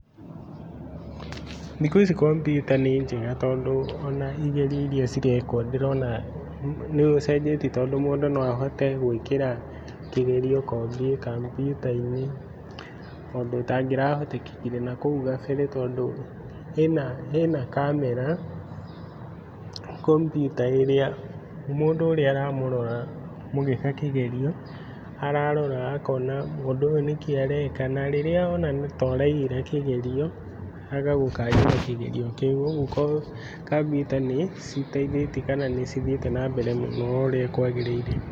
Thikũici kompyuta nĩnjega tondũ ona igerio iria cirekwo ndĩrona nĩũcenjetie tondũ ndĩrona mũndũ no ahote gũĩkĩra kĩgerio kombyuta-inĩ, ũndũ ũtangĩrahotekekire nahau gabere tondũ ĩna ĩna kamera komyuta ĩrĩa mũndũ ũrĩa aramũrora mũgĩka kĩgerio ararora akona mũndũ ũyũ nĩkĩ areka na rĩrĩa ona toraiyĩra kĩgerio agagũkanjĩra kĩgerio kĩu ũguo kombyuta niciteithĩtie kana nĩcithiĩte mbere oũrĩa kwagĩrĩire.